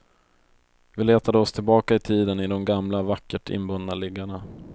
Vi letade oss tillbaka i tiden i de gamla vackert inbundna liggarna.